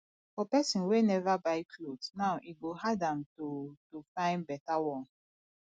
for pesin wey never buy cloth now e go hard am to to fyn beta one